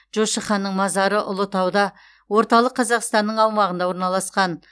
жошы ханның мазары ұлытауда орталық қазақстанның аумағында орналасқан